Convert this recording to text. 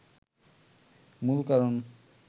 মূল কারণ